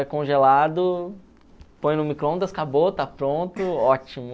É congelado, põe no microondas, acabou, está pronto, ótimo.